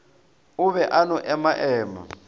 o be a no emaema